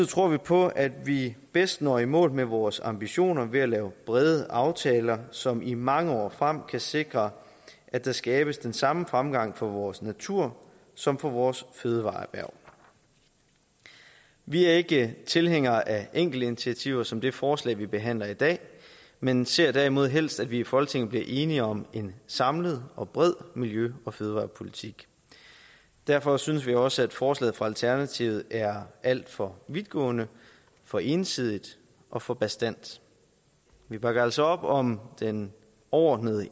tror vi på at vi bedst når i mål med vores ambitioner ved at lave brede aftaler som i mange år frem kan sikre at der skabes den samme fremgang for vores natur som for vores fødevareerhverv vi er ikke tilhængere af enkeltinitiativer som det forslag vi behandler i dag men ser derimod helst at vi i folketinget bliver enige om en samlet og bred miljø og fødevarepolitik derfor synes vi også at forslaget fra alternativet er alt for vidtgående for ensidigt og for bastant vi bakker altså op om den overordnede